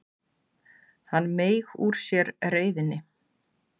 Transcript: Hann meig úr sér reiðinni.